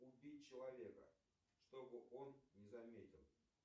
убить человека чтобы он не заметил